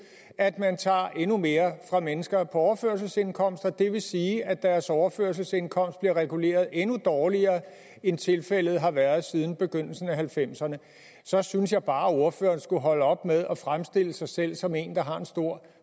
at man tager endnu mere fra mennesker på overførselsindkomst og det vil sige at deres overførselsindkomst bliver reguleret endnu dårligere end tilfældet har været siden begyndelsen af nitten halvfemserne så synes jeg bare at ordføreren skulle holde op med at fremstille sig selv som en der har en stor